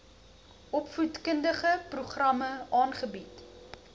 opvoedkundige programme aanbied